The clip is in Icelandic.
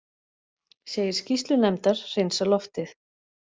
Segir skýrslu nefndar hreinsa loftið